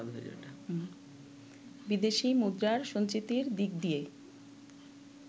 বিদেশি মুদ্রার সঞ্চিতির দিক দিয়ে